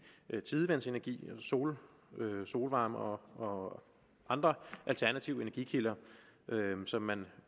tidevandsenergi solvarme solvarme og andre alternative energikilder som man